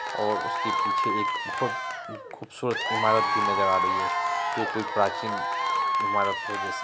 और उसके पीछे एक बोहोत खूबसूरत इमारत भी नजर आ रही है। जो कोई प्राचीन इमारत हो जैसे--